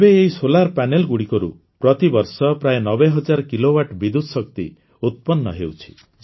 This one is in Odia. ଏବେ ଏହି ସୌର ପ୍ୟାନେଲ ଗୁଡ଼ିକରୁ ପ୍ରତିବର୍ଷ ପ୍ରାୟ ନବେହଜାର କିଲୋୱାଟ ବିଦ୍ୟୁତ ଶକ୍ତି ଉତ୍ପନ୍ନ ହେଉଛି